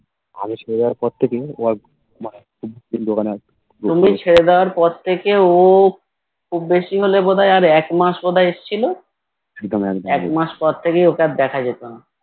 তুমি ছেড়ে দেবার পর থেকে ও খুব বেশি হলে বোধহয় আর একমাস বোধহয় আর এসেছিলো একমাস পর থেকে ওকে আর দেখা যেত না